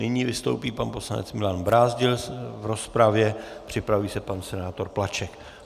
Nyní vystoupí pan poslanec Milan Brázdil v rozpravě, připraví se pan senátor Plaček.